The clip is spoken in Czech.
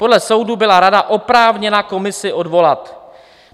Podle soudu byla rada oprávněna komisi odvolat.